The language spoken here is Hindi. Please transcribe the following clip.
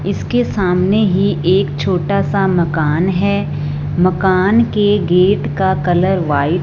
इसके सामने ही एक छोटा सा मकान है मकान के गेट का कलर व्हाइ--